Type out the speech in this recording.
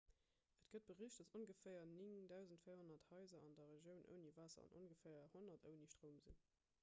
et gëtt bericht datt ongeféier 9 400 haiser an der regioun ouni waasser an ongeféier 100 ouni stroum sinn